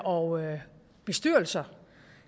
og bestyrelser